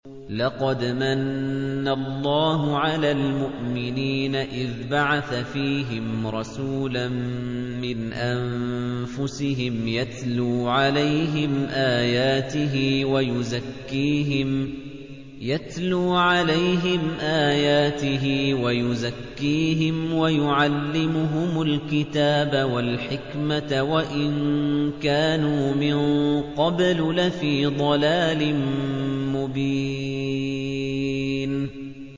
لَقَدْ مَنَّ اللَّهُ عَلَى الْمُؤْمِنِينَ إِذْ بَعَثَ فِيهِمْ رَسُولًا مِّنْ أَنفُسِهِمْ يَتْلُو عَلَيْهِمْ آيَاتِهِ وَيُزَكِّيهِمْ وَيُعَلِّمُهُمُ الْكِتَابَ وَالْحِكْمَةَ وَإِن كَانُوا مِن قَبْلُ لَفِي ضَلَالٍ مُّبِينٍ